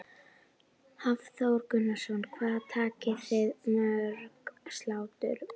Hafþór Gunnarsson: Hvað takið þið mörg slátur?